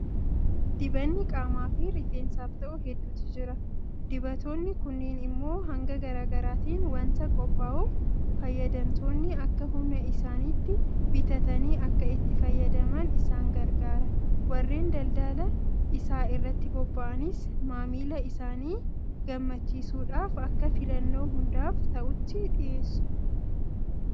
Dibanni qaamaafi rifeensaaf ta'u hedduutu jira. Dibatoonni kunneen immoo hanga garaa garaatiin waanta qophaa'uuf fayyadamtoonni akka humna isaaniitti bitatanii akka itti fayyadaman isaan gargaara. Warreen daldala isaa irratti bobba'anis maamila isaanii gammachiisuudhaaf akka filannoo hundaaf ta'utti dhiyeessu.